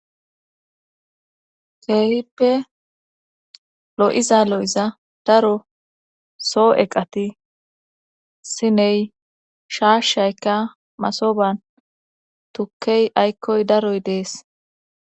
keehippe lo7iza lo7iza daro soo7eqati siney shaashshayka masoban tukkey aykkoy daroy dees.